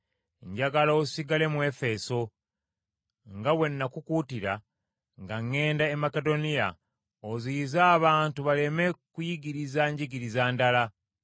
Njagala osigale mu Efeso, nga bwe nakukuutira nga ŋŋenda e Makedoniya oziyize abantu baleme kuyigiriza njigiriza ndala.